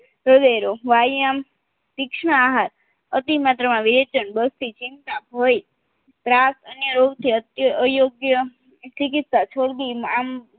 વ્યાયામ તીક્ષ્ણ આહાર અતિ મદ્રમાં વિવેચન બઢતી ચિંતા ભય ત્રાસ અને યોગ્ય અયોગ્ય ચીકીત્સા છોડદી